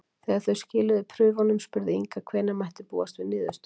Þegar þau skiluðu prufunum spurði Inga hvenær mætti búast við niðurstöðum.